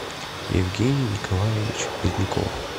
евгений николаевич поздняков